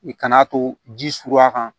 I kan'a to ji suruya kan